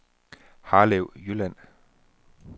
Harlev Jylland